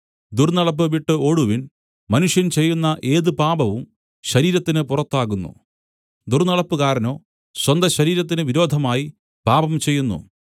ദുർന്നടപ്പ് വിട്ട് ഓടുവിൻ മനുഷ്യൻ ചെയ്യുന്ന ഏത് പാപവും ശരീരത്തിന് പുറത്താകുന്നു ദുർന്നടപ്പുകാരനോ സ്വന്തശരീരത്തിന് വിരോധമായി പാപം ചെയ്യുന്നു